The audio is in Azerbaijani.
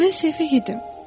“Mən səfeh idim.